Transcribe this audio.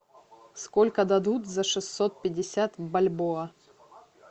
сколько дадут за шестьсот пятьдесят бальбоа